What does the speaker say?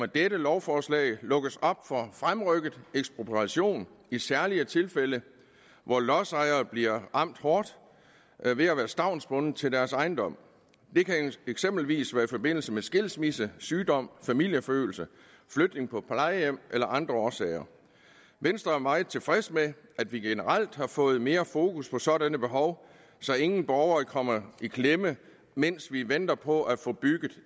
dette lovforslag lukkes op for fremrykket ekspropriation i særlige tilfælde hvor lodsejere bliver ramt hårdt ved at være stavnsbundet til deres ejendom det kan eksempelvis være i forbindelse med skilsmisse sygdom familieforøgelse flytning på plejehjem eller af andre årsager venstre er meget tilfreds med at vi generelt har fået mere fokus på sådanne behov så ingen borgere kommer i klemme mens vi venter på at få bygget